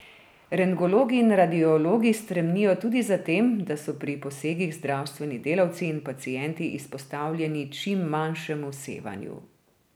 Rentgenologi in radiologi stremijo tudi za tem, da so pri posegih zdravstveni delavci in pacienti izpostavljeni čim manjšemu sevanju.